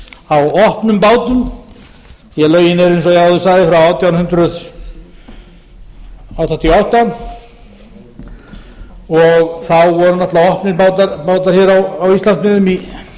á opnum bátum því lögin eru eins og ég áður sagði frá átján hundruð áttatíu og átta og þá voru opnir bátar hér á íslandsmiðum